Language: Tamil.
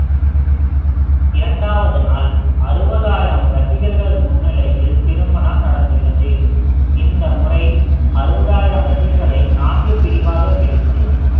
இரண்டாவது நாள் அறுபதாயிரம் ரசிகர்கள் முன்னிலையில் திருமணம் நடந்துள்ளது இந்த முறை அறுபதாயிரம் ரசிகர்களை நான்கு பிரிவாகப் பிரித்து